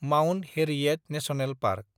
Mount Harriet National park